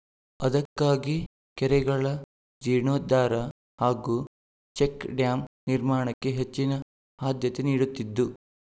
ಅದಕ್ಕಾಗಿ ಕೆರೆಗಳ ಜೀರ್ಣೋದ್ಧಾರ ಹಾಗೂ ಚೆಕ್‍ಡ್ಯಾಂ ನಿರ್ಮಾಣಕ್ಕೆ ಹೆಚ್ಚಿನ ಆದ್ಯತೆ ನೀಡುತ್ತಿದ್ದು